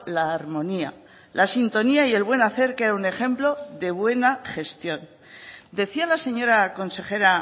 la armonía la sintonía y el buen hacer que era un ejemplo de buena gestión decía la señora consejera